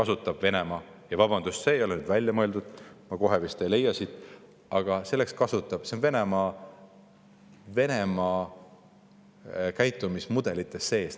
See on Venemaa – vabandust, see ei ole nüüd välja mõeldud, ma kohe vist ei leia seda siit üles – käitumismudelites sees.